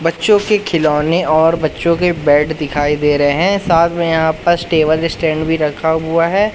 बच्चों के खिलौने और बच्चों के बैट दिखाई दे रहे हैं साथ में यहां टेबल स्टैंड भी रखा हुआ है।